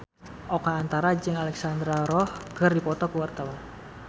Oka Antara jeung Alexandra Roach keur dipoto ku wartawan